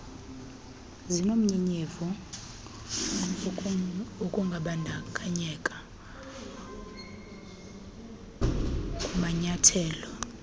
zinomnyenyevu wokungabandakanywa kumanyathelo